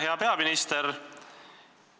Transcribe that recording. Hea peaminister!